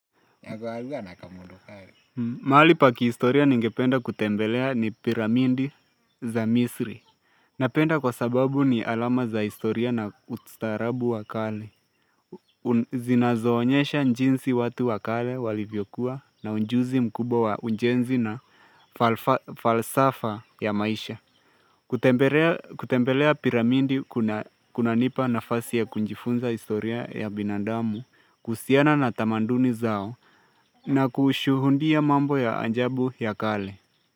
Mahali pa ki historia ninge penda kutembelea ni piramidi za misri Napenda kwa sababu ni alama za historia na ustaarabu wakale Zinazoonyesha jinsi watu wakale walivyokuwa na ujuzi mkubwa wa ujenzi na falsafa ya maisha kutembelea piramindi kunanipa nafasi ya kujifunza historia ya binandamu kuhusiana na tamanduni zao na kushuhudia mambo ya ajabu ya kale.